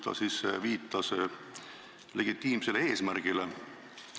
Ta viitas legitiimsele eesmärgile.